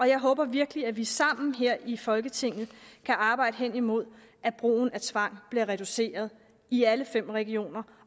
jeg håber virkelig at vi sammen her i folketinget kan arbejde hen imod at brugen af tvang bliver reduceret i alle fem regioner